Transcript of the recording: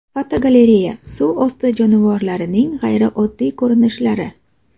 Fotogalereya: Suv osti jonivorlarining g‘ayrioddiy ko‘rinishlari.